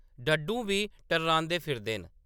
डड्डूं बी टर्रांदे फिरदे न।